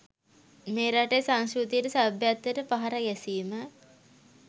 මේ රටේ සංස්කෘතියට සභ්‍යත්වයට පහර ගැසීම